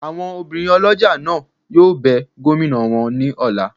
Awọn òbirin olójá náà yóò bẹ gomina wọ ni ọla